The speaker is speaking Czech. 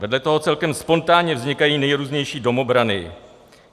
Vedle toho celkem spontánně vznikají nejrůznější domobrany.